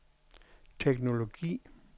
teknologi